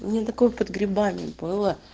у меня такое под грибами было